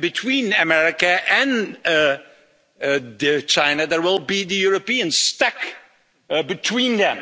Between America and China there will be Europe stuck between them